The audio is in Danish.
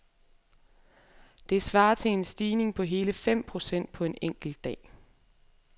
Det svarer til en stigning på hele fem procent på en enkelt dag.